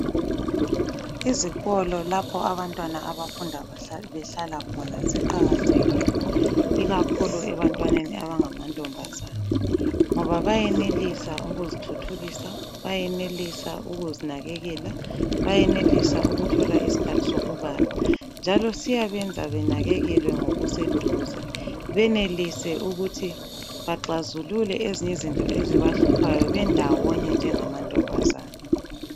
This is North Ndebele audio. Izikolo lapho abantwana abafunda behlala khona ziqakathekile ikakhulu ebantwaneni abangamantombazana, ngoba bayenelisa ukuzithuthukisa, bayenelisa ukuzinakekela, bayenelisa ukuthola isikhathi sokubala njalo siyabenza benakekelwe ngokuseduze. Benelise ukuthi baxazulule ezinye izinto ezibahluphayo bendawonye njengamantombazana.